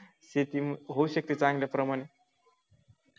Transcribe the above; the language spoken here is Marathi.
शेती होऊ शकते चांगल्या प्रमाणे